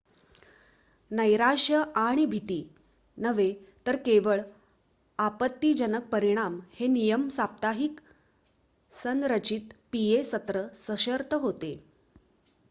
नैराश्य आणि भीती नव्हे तर केवळ आपत्तिजनक परिणाम हे नियमित साप्ताहिक संरचित पीए सत्र सशर्त होते